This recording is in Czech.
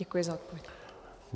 Děkuji za odpověď.